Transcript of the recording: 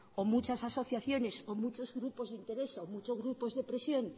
o muchas asociaciones o muchos grupos de presión